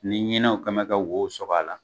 Ni ɲinɛnw kɛlen bɛ ka wow sɔgɔ a la,